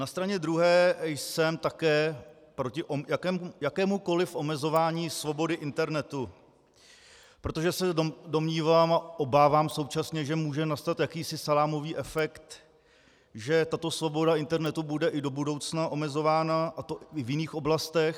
Na straně druhé jsem také proti jakémukoliv omezování svobody internetu, protože se domnívám a obávám současně, že může nastat jakýsi salámový efekt, že tato svoboda internetu bude i do budoucna omezována, a to i v jiných oblastech.